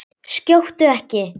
Skjóttu ekki.